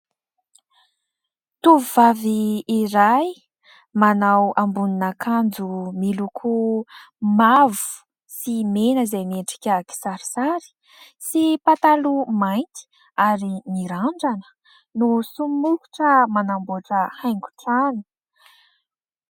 Tovovay iray manao ambonin'akanjo miloko mavo sy mena izay miendrika kisarisary sy pataloha mainty ary mirandrana no somokitra manamboatra haingon-trano.